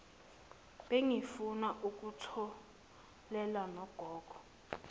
bengifuna ukutholela nogogo